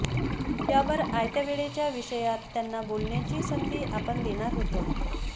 यावर आयत्या वेळच्या विषयात त्यांना बोलण्याची संधी आपण देणार होतो